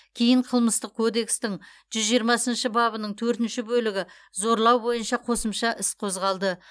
кейін қылмыстық кодекстің жүз жиырмасыншы бабының төртінші бөлігі зорлау бойынша қосымша іс қозғалды